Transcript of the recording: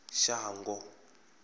shango